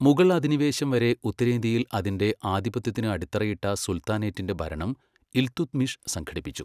മുഗൾ അധിനിവേശം വരെ ഉത്തരേന്ത്യയിൽ അതിന്റെ ആധിപത്യത്തിന് അടിത്തറയിട്ട സുൽത്താനേറ്റിന്റെ ഭരണം ഇൽതുത്മിഷ് സംഘടിപ്പിച്ചു.